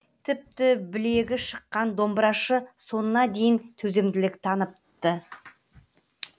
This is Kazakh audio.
тіпті білегі шыққан домбырашы соңына дейін төзімділік танытты